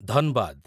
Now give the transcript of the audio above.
ଧନବାଦ